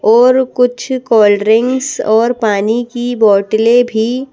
और कुछ कोल्ड्रिंक्स और पानी की बोतलें भी--